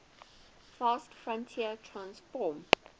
fast fourier transform